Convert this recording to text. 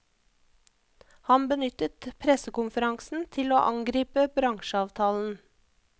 Han benyttet pressekonferansen til å angripe bransjeavtalen.